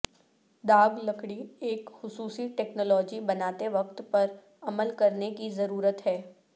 داغ لکڑی ایک خصوصی ٹیکنالوجی بناتے وقت پر عمل کرنے کی ضرورت ہے